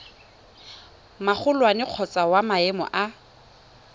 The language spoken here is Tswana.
magolwane kgotsa wa maemo a